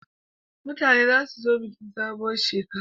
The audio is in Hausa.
Mutane za su zo bikin sabuwar shekara